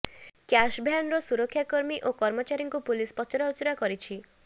cash ଭ୍ୟାନର ସୁରକ୍ଷା କର୍ମୀ ଓ କର୍ମଚାରୀଙ୍କୁ ପୁଲିସ ପଚରା ଉଚରା କରିଛି